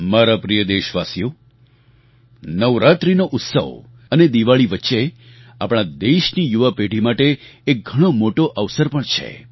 મારા પ્રિય દેશવાસીઓ નવરાત્રિનો ઉત્સવ અને દિવાળી વચ્ચે આપણા દેશની યુવા પેઢી માટે એક ઘણો મોટો અવસર પણ છે